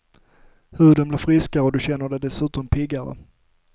Huden blir friskare och du känner dig dessutom piggare.